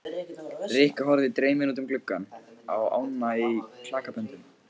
Rikka horfði dreymin út um gluggann á ána í klakaböndum.